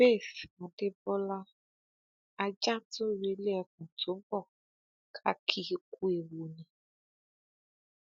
faith adébọlá ajá tó relé ẹkùn tó bó ká kì í ku ewu ni